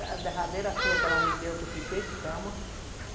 A derradeira surra que ela me deu, que eu fiquei de cama.